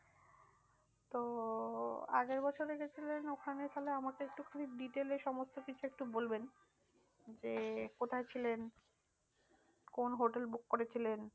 তো আগের বছরে গিয়েছিলেন ওখানে তাহলে আমাকে একটুখানি detail এ সমস্ত কিছু একটু বলবেন যে কোথায় ছিলেন? কোন hotel book করেছিলেন?